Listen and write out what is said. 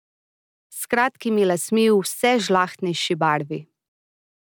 S kratkimi lasmi v vse žlahtnejši barvi.